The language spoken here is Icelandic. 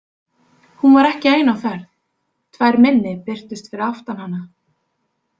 Hún var ekki ein á ferð, tvær minni birtust fyrir aftan hana.